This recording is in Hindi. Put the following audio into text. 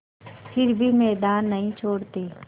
फिर भी मैदान नहीं छोड़ते